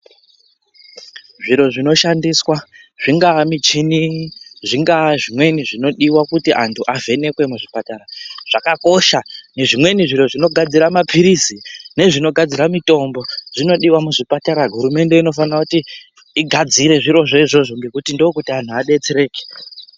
Zviro zvinoshandiswa zvingava muchini zvingava nezvimweni zvinodiwa kuti antu avhenekwe muzviipatara zvakakosha nezvimweni zviro zvinogadzira mapilizi nezvinogadzira mitombo zvinodiwa muzvipata hurumende inofanirwa kuti igadzire zviro zvo nekuti ndokuti antu adetsereke.